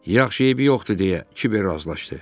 Yaxşı, eybi yoxdur deyə Kiber razılaşdı.